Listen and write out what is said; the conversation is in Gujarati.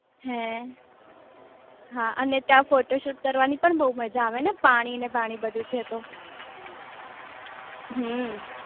હે હા અને ત્યાં ફોટો સૂટ કરવાની પણ બહુ મજા આવે ને પાણી ને બની બધું છે તો હમમ